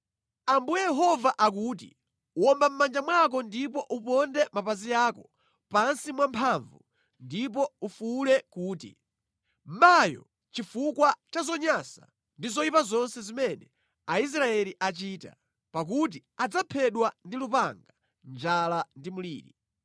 “Ambuye Yehova akuti: Womba mʼmanja mwako ndipo uponde mapazi ako pansi mwamphamvu ndipo ufuwule kuti, ‘Mayo!’ chifukwa cha zonyansa ndi zoyipa zonse zimene Aisraeli achita, pakuti adzaphedwa ndi lupanga, njala ndi mliri.